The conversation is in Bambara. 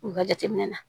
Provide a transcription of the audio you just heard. U ka jateminɛ na